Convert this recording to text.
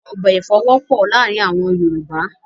Ọbẹ̀ èfọ̀ wọ́pọ̀ láàárìn àwọn Yorùbá